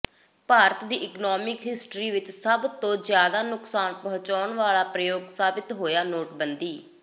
ਭਾਰਤ ਦੀ economic history ਵਿਚ ਸਭ ਤੋਂ ਜ਼ਿਆਦਾ ਨੁਕਸਾਨ ਪਹੁੰਚਾਉਣ ਵਾਲਾ ਪ੍ਰਯੋਗ ਸਾਬਤ ਹੋਇਆ ਨੋਟਬੰਦੀ